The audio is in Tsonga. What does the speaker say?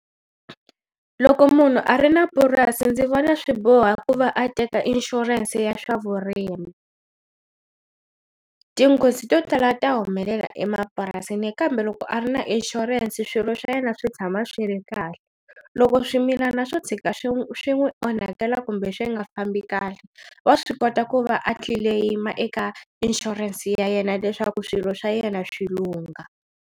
Loko munhu a ri na purasi ndzi vona swi boha ku va a teka inshurense ya swa vurimi, tinghozi to tala ta humelela emapurasini kambe loko a ri na inshurense swilo swa yena swi tshama swi ri kahle loko swimilana swo tshika swi n'wi swi n'wi onhakela kumbe swi nga fambi kahle wa swi kota ku va a tlileyima eka inshurense ya yena leswaku swilo swa yena swi lungha.